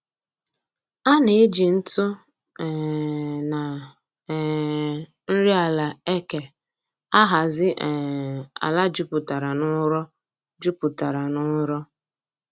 A na-eji ntụ um na um nri ala eke ahazi um ala juputara n'ụrọ juputara n'ụrọ